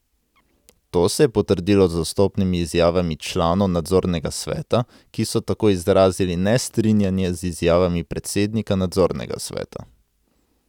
To se je potrdilo z odstopnimi izjavami članov nadzornega sveta, ki so tako izrazili nestrinjanje z izjavami predsednika nadzornega sveta.